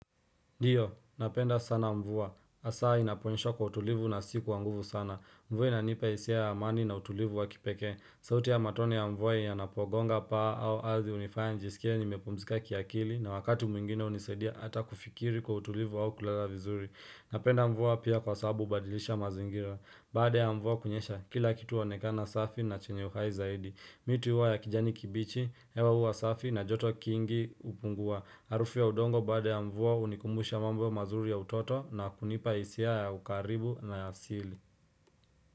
Ndiyo, napenda sana mvua. Hasaa inaponenyesha kwa utulivu na si kwanguvu sana. Mvue inanipa hisia ya amani na utulivu wa kipeke. Sauti ya matone ya mvua ya napogonga paa au alzi unifaya njisikia ni mepomzika kiakili na wakatu mwingine unisedia ata kufikiri kwa utulivu au kulala vizuri. Napenda mvua pia kwa sababu hubadilisha mazingira Baada ya mvua kunyesha kila kitu huonekana safi na chenye uhai zaidi Mi tu huwa ya kijani kibichi, hewa huwa safi na joto kingi hupungua. Harufu ya udongo baadaya mvua hunikumbusha mambo mazuri ya utoto na kunipa hisia ya ukaribu na ya asili.